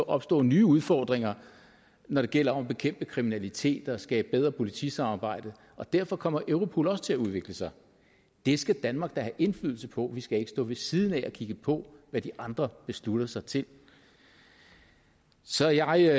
opstå nye udfordringer når det gælder om at bekæmpe kriminalitet og skabe bedre politisamarbejde og derfor kommer europol også til at udvikle sig det skal danmark da have indflydelse på vi skal ikke stå ved siden af og kigge på hvad de andre beslutter sig til så jeg